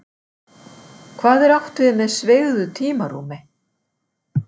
Hvað er átt við með sveigðu tímarúmi?